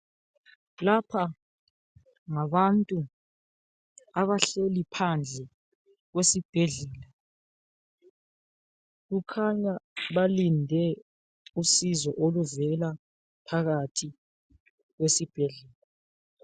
Lapha ngabantu abahleli phandle kwesibhedlela. Kukhanya balinde usizo oluvela phakathi esibhedlela.